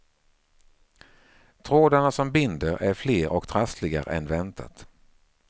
Trådarna som binder är fler och trassligare än väntat.